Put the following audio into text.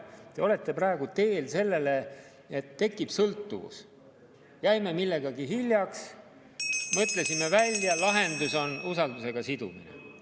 Te olete praegu teel selleni, et tekib sõltuvus – jäime millegagi hiljaks, mõtlesime välja, lahendus on usaldusega sidumine.